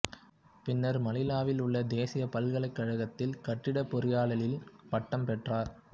பின்னர் மணிலாவில் உள்ள தேசிய பல்கலைக்கழகத்தில் கட்டிடப் பொறியியலில் பட்டம் பெற்றார்